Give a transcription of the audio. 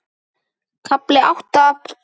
KAFLI ÁTTA